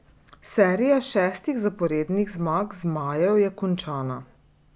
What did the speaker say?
Serija šestih zaporednih zmag zmajev je končana.